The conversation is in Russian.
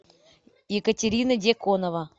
екатерина деконова